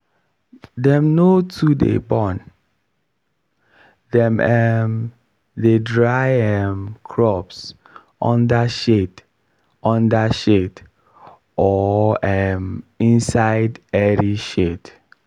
dem no too dey burn dem um dey dry um crops under shade under shade or um inside airy shed.